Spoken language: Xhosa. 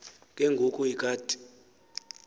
ke ngoku ikati